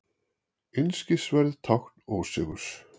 Einskisverð tákn ósigurs.